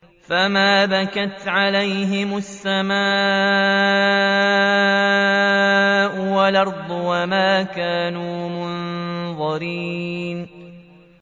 فَمَا بَكَتْ عَلَيْهِمُ السَّمَاءُ وَالْأَرْضُ وَمَا كَانُوا مُنظَرِينَ